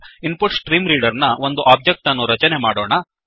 ನಾವು ಈಗ ಇನ್ಪುಟ್ಸ್ಟ್ರೀಮ್ರೀಡರ್ ನ ಒಂದು ಒಬ್ಜೆಕ್ಟ್ ಅನ್ನು ರಚನೆ ಮಾಡೋಣ